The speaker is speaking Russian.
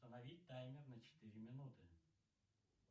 установить таймер на четыре минуты